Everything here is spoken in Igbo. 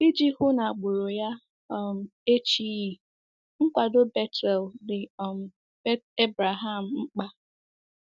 Iji hụ na agbụrụ ya um echighị, nkwado Bethuel dị um Abraham mkpa.